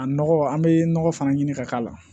A nɔgɔ an bɛ nɔgɔ fana ɲini ka k'a la